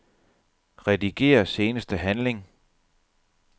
Rediger seneste handling.